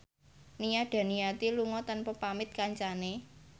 Nia Daniati lunga tanpa pamit kancane